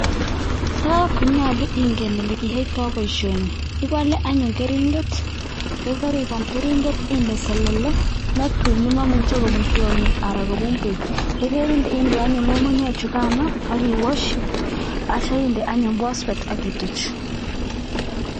Tai konyolu ingen ole kiyaitoi boisioni, ipole anyun keringet ye keripaal keringet inde selele netui nemaimuchei kobun tiongik anan kobun beek, ye kerinde anyun ngungunyek chukano ak kiwashi atyo inde anyun phosphate ak kituuch.